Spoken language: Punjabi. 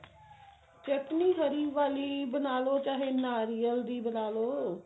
ਚਟਨੀ ਹਰੀ ਵਾਲੀ ਬਣਾਲੋ ਚਾਹੇ ਨਾਰੀਅਲ ਦੀ ਬਣਾ ਲਓ